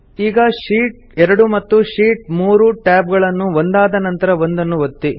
ಈಗ ಶೀಟ್ 2 ಮತ್ತು sheet 3 tab ಗಳನ್ನು ಒಂದಾದ ನಂತರ ಒಂದನ್ನು ಒತ್ತಿ